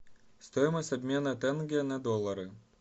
стоимость обмена тенге на доллары